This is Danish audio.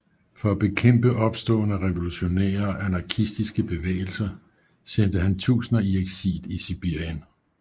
For at bekæmpe opståen af revolutionære og anarkistiske bevægelser sendte han tusinder i eksil i Sibirien